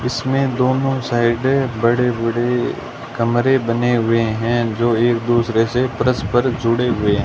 इसमें दोनों साइड बड़े बड़े कमरे बने हुए हैं जो एक दूसरे से परस्पर जुड़े हुए--